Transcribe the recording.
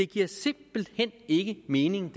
giver simpelt hen ikke mening